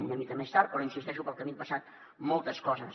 és una mica més tard però hi insisteixo pel camí han passat moltes coses